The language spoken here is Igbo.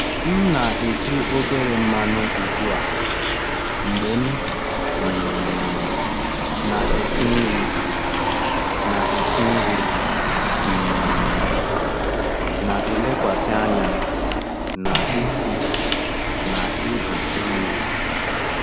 M na-eji obere mmanụ ugbu a mgbe m um na-esi nri, na-esi nri, um na-elekwasị anya na isi na ibu mmiri.